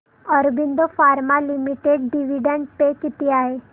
Aurobindo pharma limited dividend pay किती आहे